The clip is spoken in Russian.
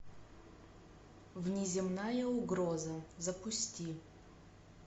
внеземная угроза запусти